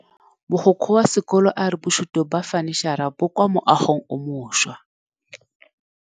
Mogokgo wa sekolo a re bosutô ba fanitšhara bo kwa moagong o mošwa.